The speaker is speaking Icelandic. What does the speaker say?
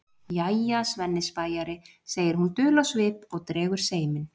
Jæja, Svenni spæjari, segir hún dul á svip og dregur seiminn.